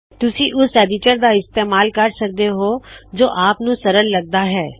ਤੁਸੀ ਓਸ ਐਡਿਟਰ ਦਾ ਇਮਤੇਮਾਲ ਕਰ ਸਕਦੇ ਹੋ ਜੋ ਆਪ ਨੂੰ ਸੌੱਖਾ ਲਗਦਾ ਹੈ